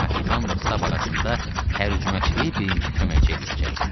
Kapitanla Stab arasında tərcüməçiliyi birinci köməkçi eləyəcəkdi.